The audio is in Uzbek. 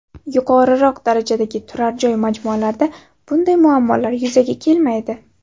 Yuqoriroq darajadagi turar joy majmualarida bunday muammolar yuzaga kelmaydi.